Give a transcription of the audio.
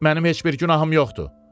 Mənim heç bir günahım yoxdur.